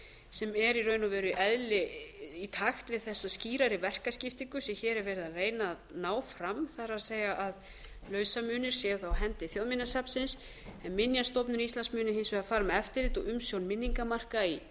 sem er í raun og veru í takt við þessa skýrari verkaskiptingu sem hér er verið að reyna að ná fram það er að lausamunir séu þá á hendi þjóðminjasafnsins en minjastofnun íslands muni hins vegar fara með eftirlit og umsjón minningarmarka í kirkjugörðum enda eru